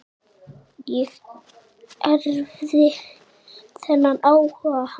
Ég erfði þennan áhuga hans.